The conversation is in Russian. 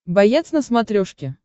боец на смотрешке